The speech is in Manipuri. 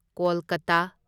ꯀꯣꯜꯀꯇꯥ